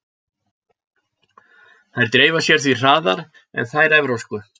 Þær dreifa sér því hraðar en þær evrópsku.